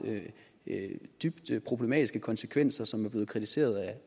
dybt problematiske konsekvenser og som er blevet kritiseret